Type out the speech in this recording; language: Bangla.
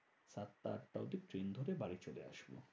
সাতটা আটটা অবধি। ট্রেন ধরে বাড়ি চলে আসবো।